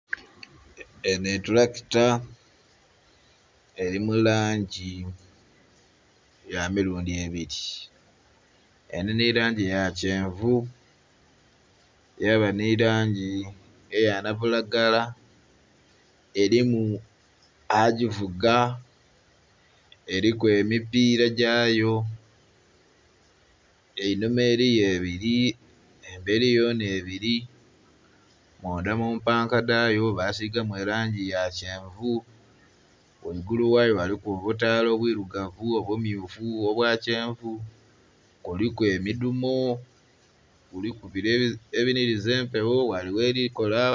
Enho etulakita eli mu langi ya milundi ebili. Eli nhi langi ya kyenvu yaba nhi langi eya nabulagala. Elimu agivuga, eliku emipiira gyayo, einhuma eliyo ebili, embeli yona ebili. Mundha mu mpanka dhayo basiigamu elangi ya kyenvu. Ghaigulu ghayo waliku obutaala obwilugavu, obumyufu, obwa kyenvu, kuliku emidumo, kuliku bile ebinhiliza empewo ghale ghelikola...